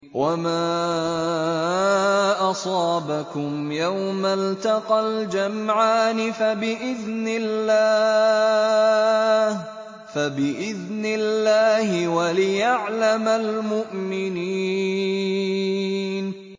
وَمَا أَصَابَكُمْ يَوْمَ الْتَقَى الْجَمْعَانِ فَبِإِذْنِ اللَّهِ وَلِيَعْلَمَ الْمُؤْمِنِينَ